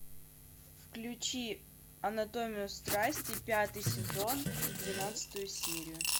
включи анатомию страсти пятый сезон двенадцатую серию